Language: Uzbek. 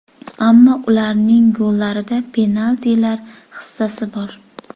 Ammo ularning gollarida penaltilar hissasi bor.